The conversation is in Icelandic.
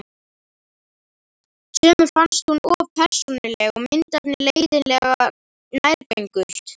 Sumum fannst hún of persónuleg og myndefnið leiðinlega nærgöngult.